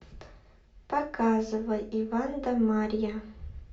показывай иван да марья